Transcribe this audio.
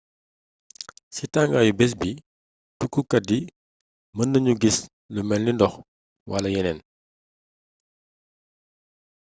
ci tangaayu béss bi tukkukat yi mënaguñu giss luy mélni ndox wala yénéén